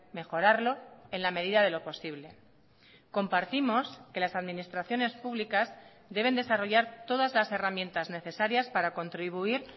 mejorarlo en la medidade lo posible compartimos que las administraciones públicas deben desarrollar todas las herramientas necesarias para contribuir